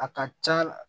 A ka ca la